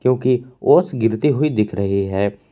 क्योंकि ओस गिरती हुई दिख रही है।